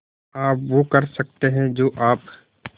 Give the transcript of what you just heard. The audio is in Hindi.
आप वो कर सकते हैं जो आप